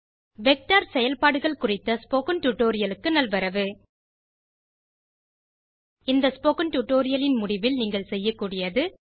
vector செயல்பாடுகள் குறித்த spoken tutorial க்கு நல்வரவு இந்த ஸ்போக்கன் டியூட்டோரியல் இன் முடிவில் நீங்கள் செய்யக்கூடியது